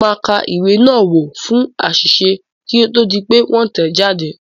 Mo máa ka ìwé náà wò fún àṣìṣe kí ó tó di pé wọ́n tẹ̀ ẹ́ jáde.